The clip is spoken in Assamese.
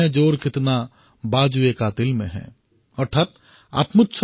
सरफ़रोशी की तमन्ना अब हमारे दिल में है